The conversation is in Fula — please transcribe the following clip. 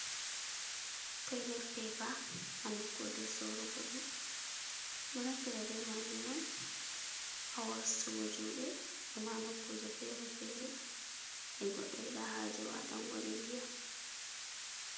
Toilet pepa ha nokkuje sorrugo ɗum ɗon naftire be majum on ha wostugo juɗe e ma noƙkuje fere-fere je goɗɗo yida haje waɗango ɗe ndiyam.